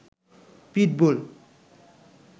pitbull